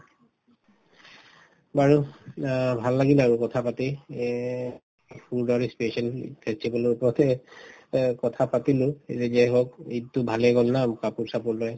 বাৰু অ ভাল লাগিলে আৰু কথা পাতি এই food আৰু special festival ৰ ওপৰতে অ কথা পাতিলো যাই হওঁক ঈদতো ভালে গল ন কাপোৰ চাপোৰ লৈ